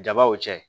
Jabaw cɛ